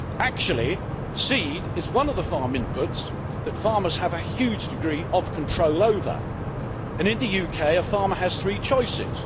Actually, seed is one of the farm inputs that farmers have a huge degree of control over, and in the UK a farmer has three choices.